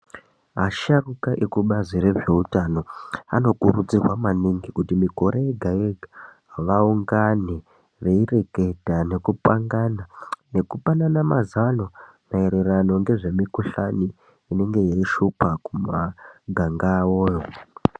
Asharuka ekubazi rezveutano anokurudzirwa maningi kuti mikore yega yega vaungane veireketa nekupangana nekupanana mazano maererano ngezvemikhuhlani inenge yeishupa kumaganga awoyo.